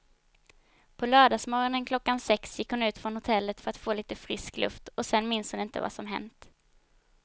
På lördagsmorgonen klockan sex gick hon ut från hotellet för att få lite frisk luft och sen minns hon inte vad som hänt.